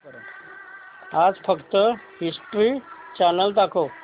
आज फक्त History Channel दाखव